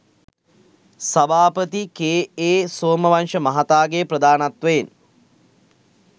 සභාපති කේ.ඒ. සෝමවංශ මහතාගේ ප්‍රධානත්වයෙන්